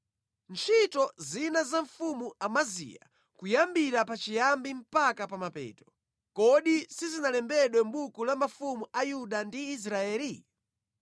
Ntchito zina za mfumu Amaziya, kuyambira pachiyambi mpaka pa mapeto, kodi sizinalembedwe mʼbuku la mafumu a Yuda ndi Israeli?